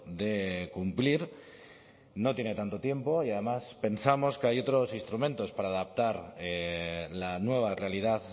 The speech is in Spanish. de cumplir no tiene tanto tiempo y además pensamos que hay otros instrumentos para adaptar la nueva realidad